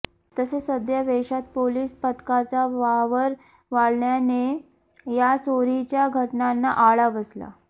तसेच सध्या वेषात पोलीस पथकाचा वावर वाढल्याने या चोरीच्या घटनांना आळा बसला